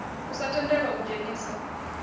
u sa tendela u dzheniswa